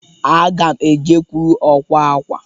Aga ma ejekwuru ọkwa akwa.